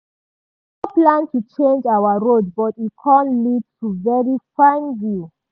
we nor plan to change our road but e com lead to very fine view.